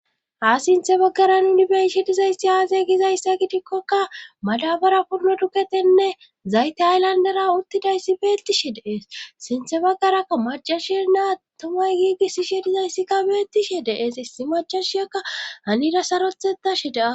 ha sinthe baggaran uni be'ishi dizaysi aasey gizayssa gidikkokka madabara purno duqetenne zayte aylandara uttidayssi beettishe dees sinthe baggaraa macashi naa tomay giigisishe dizayssikka beettishe dees issi macashiyakka anida sarothetashe daa